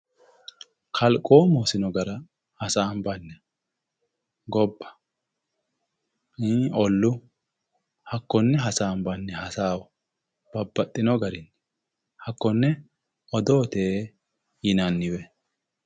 Kalqomu hosino gara hasaambanni gobba ollu hakkone hasaambanni hasaawa babbaxxino garini hakkone odoote yinanniwe.